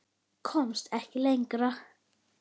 Komst ekki lengra.